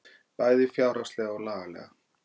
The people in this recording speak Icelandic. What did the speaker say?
Bæði fjárhagslega og lagalega